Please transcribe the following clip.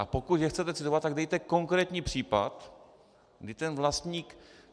A pokud je chcete citovat, tak dejte konkrétní případ, kdy ten vlastník...